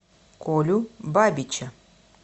колю бабича